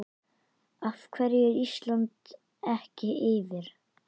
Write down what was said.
AF HVERJU ER ÍSLAND EKKI YFIR????